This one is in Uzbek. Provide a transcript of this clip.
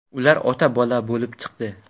Ular ota-bola bo‘lib chiqdi.